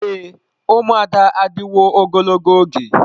Ee, ụmụada adịwo ogologo oge.